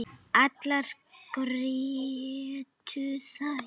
Allar grétu þær.